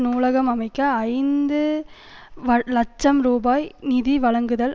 நூலகம் அமைக்க ஐந்து வலட்சம் ரூபாய் நிதி வழங்குதல்